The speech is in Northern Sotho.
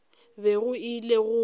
bego ke ile go e